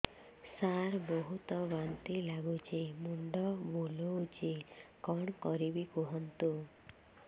ସାର ବହୁତ ବାନ୍ତି ଲାଗୁଛି ମୁଣ୍ଡ ବୁଲୋଉଛି କଣ କରିବି କୁହନ୍ତୁ